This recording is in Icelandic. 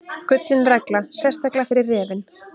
Gullin regla, sérstaklega fyrir refinn.